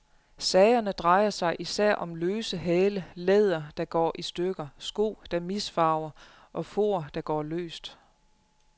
Sagerne drejer sig især om løse hæle, læder, der går i stykker, sko, der misfarver og for, der går løst.